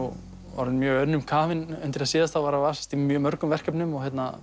orðinn mjög önnum kafinn undir það síðasta að vasast í mörgum verkefnum